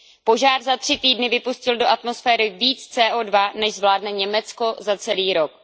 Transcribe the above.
Požár za tři týdny vypustil do atmosféry více CO2, než zvládne Německo za celý rok.